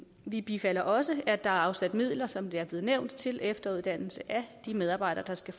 vi bifalder også at der er afsat midler som det er blevet nævnt til efteruddannelse af de medarbejdere der skal